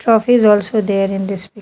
Trophies also there in this --